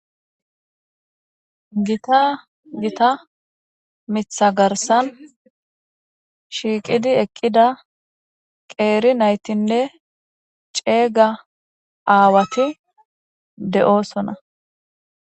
gita gita mitha garsan shiiqidi eqqida qeeri naytinne ceeyga aawati de'oosona